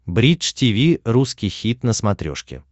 бридж тиви русский хит на смотрешке